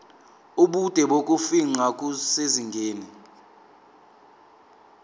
ubude bokufingqa kusezingeni